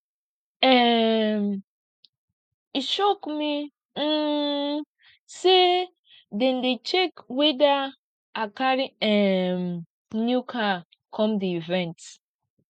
um e shock me um sey dem dey check weda i carry um new car come di event